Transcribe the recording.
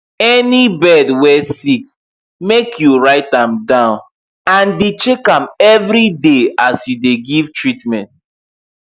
any bird wey sick make you write am down and dey check am every day as you dey give treatment